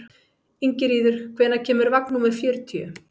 Ingiríður, hvenær kemur vagn númer fjörutíu?